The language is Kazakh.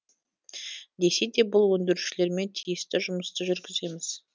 десе де бұл өндірушілермен тиісті жұмысты жүргіземіз